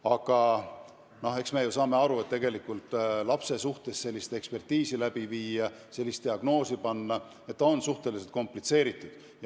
Aga eks me ju saame aru, et lapse suhtes sellist ekspertiisi läbi viia, sellist diagnoosi panna on suhteliselt komplitseeritud.